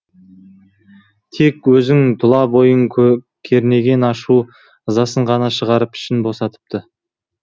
тек өзінің тұла бойын кернеген ашу ызасын ғана шығарып ішін босатыпты